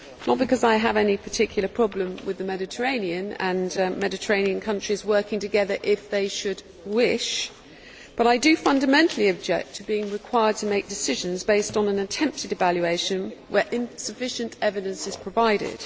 Not because I have any particular problem with the Mediterranean and those countries working together if they should wish, but I fundamentally object to being required to make decisions based on an attempted evaluation where insufficient evidence is provided.